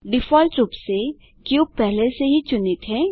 default रूप से cube पहले से ही चुनित है